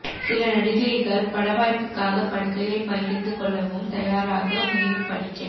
சில நடிகைகள் பட வாய்ப்புக்காக படுக்கையை பகிர்ந்துகொள்ளவும் தயாராக மேலும் படிக்க